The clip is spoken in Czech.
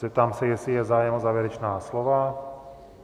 Zeptám se, jestli je zájem o závěrečná slova.